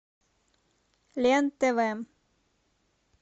лен тв